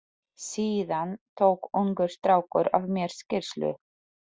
Síðan tók ungur strákur af mér skýrslu.